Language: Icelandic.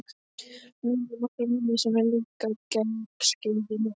Nonni á nokkra vini sem eru líka á gelgjuskeiðinu.